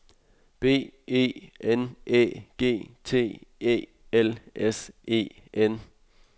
B E N Æ G T E L S E N